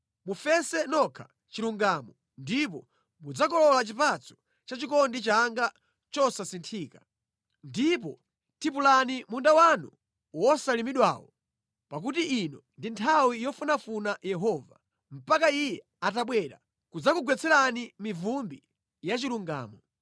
Mufese nokha chilungamo ndipo mudzakolola chipatso cha chikondi changa chosasinthika. Ndipo tipulani munda wanu wosalimidwawo; pakuti ino ndi nthawi yofunafuna Yehova, mpaka Iye atabwera kudzakugwetserani mivumbi ya chilungamo.